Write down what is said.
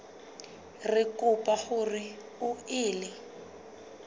re kopa hore o ele